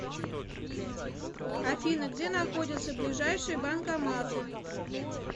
афина где находятся ближайшие банкоматы